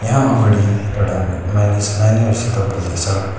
यहाँ अगाडि एउडा मानिस नानीहरूसित बोल्दैछ।